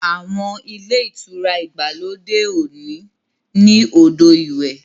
Àwọn Ilé-ìtura ìgbàlódé òní ní odo ìwé.